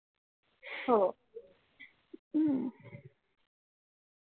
हो हम्म